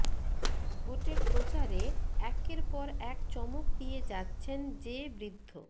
ভোটের প্রচারে একের পর এক চমক দিয়ে যাচ্ছেন যে বৃদ্ধ